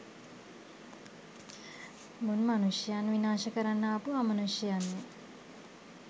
මුන් මනුෂ්‍යයන් විනාශ කරන්න ආපු අමනුෂ්‍යයයන්ය.